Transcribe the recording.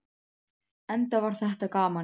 Enda var þetta gaman.